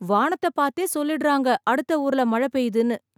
வானத்த பாத்தே சொல்லிடுறாங்க அடுத்த ஊர்ல மழை பெய்துன்னு.